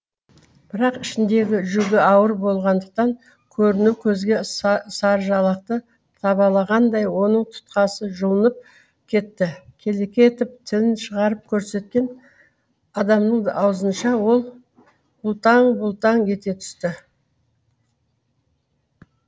бірақ ішіндегі жүгі ауыр болғандықтан көрінеу көзге сарыжалақты табалағандай оның тұтқасы жұлынып кетті келеке етіп тілін шығарып көрсеткен адамның аузынша ол бұлталаң бұлталаң ете түсті